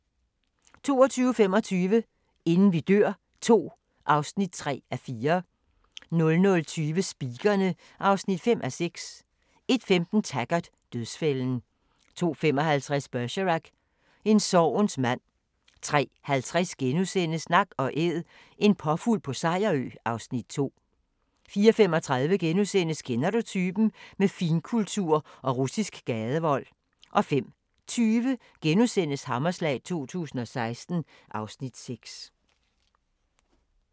22:25: Inden vi dør II (3:4) 00:20: Speakerine (5:6) 01:15: Taggart: Dødsfælden 02:55: Bergerac: En sorgens mand 03:50: Nak & Æd – en påfugl på Sejerø (Afs. 2)* 04:35: Kender du typen? – Med finkultur og russisk gadevold * 05:20: Hammerslag 2016 (Afs. 6)*